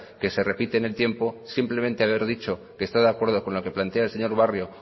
que se repite en el tiempo simplemente haber dicho que está de acuerdo con lo que plantea el señor barrio